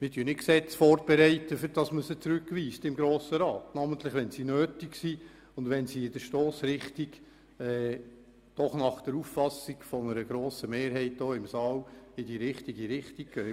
Wir bereiten nicht Gesetze vor, damit sie im Grossen Rat zurückgewiesen werden – namentlich wenn sie nötig sind und wenn sie in der Stossrichtung doch nach Auffassung einer grossen Mehrheit hier im Saal in die richtige Richtung gehen.